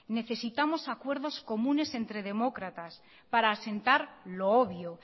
necesitamos acuerdos comunes entre demócratas para asentar lo obvio